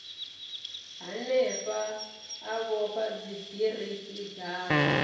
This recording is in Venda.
hanefha a vhofha dzibiriki dzawe